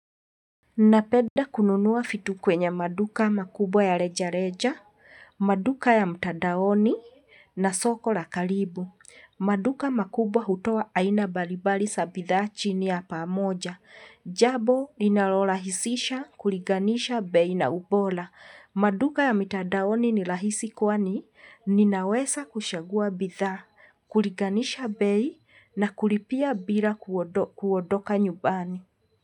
Ninapeda kununuwa fitu kwenye maduka makubwa ya reja-reja, maduka ya mtadaoni na soko la kalibu. Maduka makubwa hutoa aina balibali sa bidhaa chini ya pamoja. Jabo linalolahisisha kuriganisha bei na ubola. Maduka ya mitadaoni ni lahisi kwani, ninaweza kushagua bidhaa, kuriganisha bei na kuripia bila kuodoka nyubani.